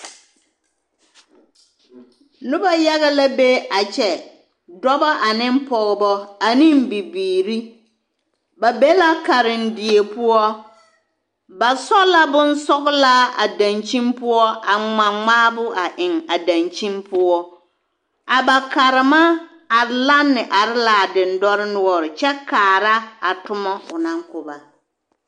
Noba yaga la be a kyɛ, dɔbɔ ane pɔgebɔ and bibiiri, ba be la karendie poɔ, ba sɔ la bonsɔgelaa a dankyini poɔ a ŋma ŋmaabo a eŋ a dankyini poɔ a ba karema are lanne are l'a dendɔre noɔre kyɛ kaara a tomɔ o naŋ ko ba.